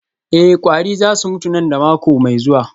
Eh kwari za su mutu nan da mako mai zuwa